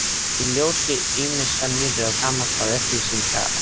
Í ljósi ýmissa nýrra og gamalla upplýsinga setti